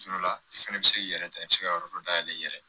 Tuma dɔ la i fɛnɛ bi se k'i yɛrɛ ta i be se ka yɔrɔ dɔ dayɛlɛ i yɛrɛ ye